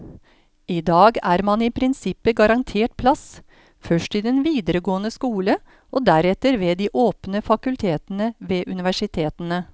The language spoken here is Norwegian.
I dag er man i prinsippet garantert plass, først i den videregående skole og deretter ved de åpne fakultetene ved universitetene.